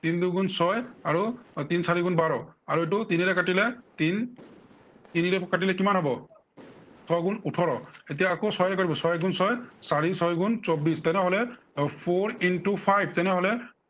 তিন দুগুণ ছয়, আৰু তিন চাৰিগুণ বাৰ। আৰু এইটো তিনেৰে কাটিলে তিন তিনিৰে কাটিলে কিমান হব ছয় গুণ ওঠৰ। এতিয়া আকৌ ছয়ৰে কৰিব, ছয় এগুণ ছয়, চাৰি ছয় গুণ চৌব্বিশ। তেনেহলে এৰ four into five তেনেহলে